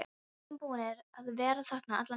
Við erum búnir að vera þarna allan tímann.